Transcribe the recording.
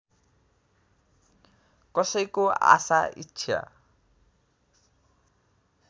कसैको आशा इच्छा